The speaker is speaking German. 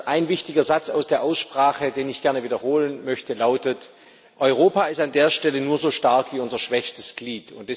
Ein wichtiger Satz aus der Aussprache, den ich gerne wiederholen möchte, lautet Europa ist an der Stelle nur so stark wie unser schwächstes Glied.